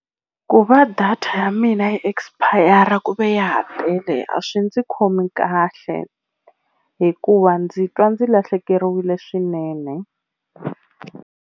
Ku va data ya mina yi expire ku ve ya ha tele a swi ndzi khomi kahle hikuva ndzi twa ndzi lahlekeriwile swinene.